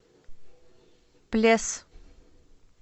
плес